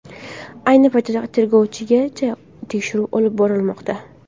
Ayni paytda tergovgacha tekshiruv olib borilmoqda.